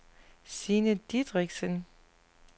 Signe Dideriksen